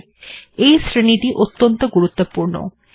এই কলাম্ অর্থাৎ শ্রেণীটি অত্যন্ত গুরুত্বপূর্ণ